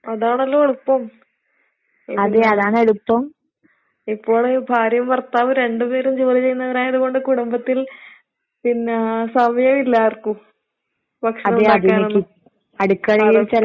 അതാണല്ലോ എളുപ്പം. ഇപ്പോള് ഭാര്യയും ഭർത്താവും രണ്ട് പേരും ജോലി ചെയ്യുന്നവരായത് കൊണ്ട് കുടുംബത്തിൽ പിന്നേ സമയവില്ല ആർക്കും ഭക്ഷണം ഇണ്ടാക്കാനൊന്നും.